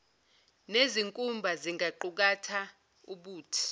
nezinkumba zingaqukatha ubuthi